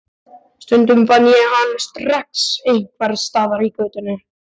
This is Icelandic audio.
Stundum fann ég hann strax einhvers staðar í götunni.